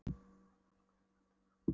Og nú skuluð þér halda yður fast